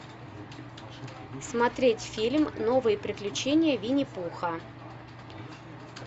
смотреть фильм новые приключения винни пуха